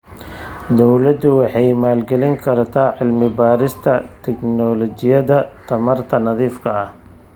Dawladdu waxay maalgelin kartaa cilmi-baarista tignoolajiyada tamarta nadiifka ah.